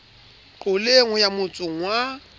qoleng ho ya motsong wa